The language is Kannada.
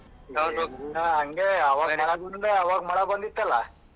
ಆವಾಗ ಮಳೆ ಬಂದಿತಲ್ಲ.